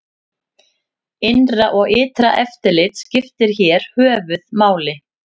Innra og ytra eftirlit skiptir hér höfuð máli.